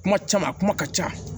Kuma caman a kuma ka ca